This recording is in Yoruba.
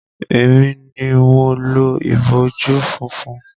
Emi ni mo lo ìbojú funfun.